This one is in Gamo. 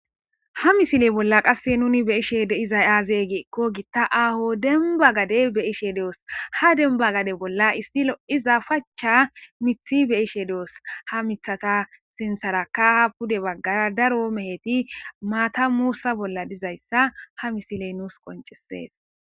Ha missile bolla nuuni be'she de'izayssi aze giiko giitta aaho dembba gadde be'shshe doos ha dembba gadde bolla issi lo'iza pachcha miththi be'ishshe doos ha miththatta sinththaraka pudde baggara daaro mehetti maatta muussa bolla dizayssa ha missiley nuus qonccises.